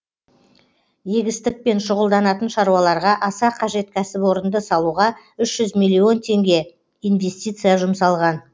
егістікпен шұғылданатын шаруаларға аса қажет кәсіпорынды салуға үш жүз миллион теңге инвестиция жұмсалған